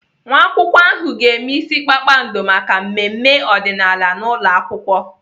Nwa akwụkwọ ahụ ga-eme ịsị kpakpando maka mmemme ọdịnaala n'ụlọakwụkwọ.